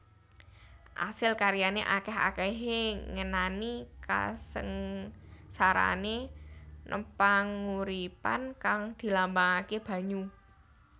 Asil karyane akeh akehe ngenani kasengsarane npanguripan kang dilambangake banyu